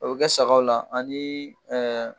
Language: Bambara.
A bɛ kɛ sagaw la ani ɛɛ